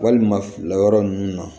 Walima lakɔyɔrɔ nunnu na